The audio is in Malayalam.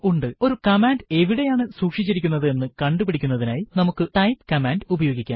ഒരു കമാൻഡ് എവിടെയാണ് സുക്ഷിച്ചിരിക്കുന്നത് എന്ന് കണ്ടു പിടിക്കുന്നതിനായി നമുക്ക് ടൈപ്പ് കമാൻഡ് ഉപയോഗിക്കാം